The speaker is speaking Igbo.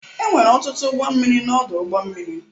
Enwere ọtụtụ ụgbọ mmiri na ọdụ ụgbọ mmiri.